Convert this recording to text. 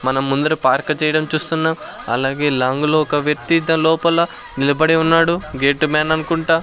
మనం ముందర పార్క్ చేయడం చూస్తున్నాం అలాగే లాంగ్ లో ఒక వ్యక్తి దాలోపల నిలబడి ఉన్నాడు గేట్ మ్యాన్ అనుకుంటా.